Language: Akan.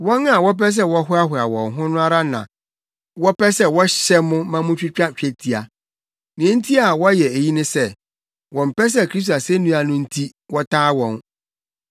Wɔn a wɔpɛ sɛ wɔhoahoa wɔn ho no ara na wɔpɛ sɛ wɔhyɛ mo ma mutwitwa twetia. Nea enti a wɔyɛ eyi ne sɛ, wɔmpɛ sɛ Kristo asennua no nti wɔtaa wɔn.